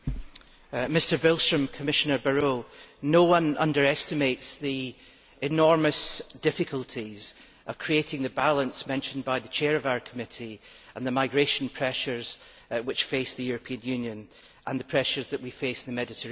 Mr President, no one underestimates the enormous difficulties of creating the balance mentioned by the chair of our committee, and of the migration pressures which face the European Union and the pressures that we face in the Mediterranean.